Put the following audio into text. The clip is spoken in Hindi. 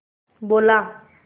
बोला